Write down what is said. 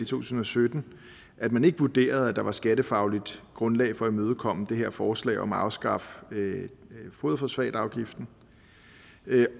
tusind og sytten at man ikke vurderede at der var et skattefagligt grundlag for at imødekomme det her forslag om at afskaffe foderfosfatafgiften